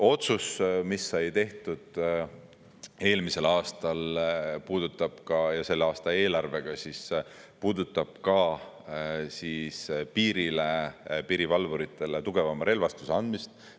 Otsus, mis sai tehtud eelmisel aastal ja selle aasta eelarvega, puudutab ka piirile, piirivalvuritele tugevama relvastuse andmist.